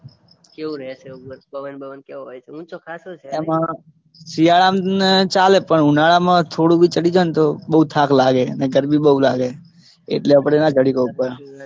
કેવુ રે છે ઉપર પવન બવન કેવો રે છે ઊંચો ખાસો છે નઇ. આમાં શિયાળામાં ચાલે પણ ઉનાળામાં થોડું બી ચઢી જાય ને તો બઉ થાક લાગે અને ગરમી બઉ લાગે એટલે આપણે ના ચઢી સકીએ ઉપર.